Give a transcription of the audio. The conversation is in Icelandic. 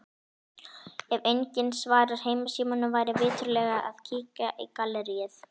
Ef enginn svarar heimasímanum væri viturlegt að kíkja í galleríið.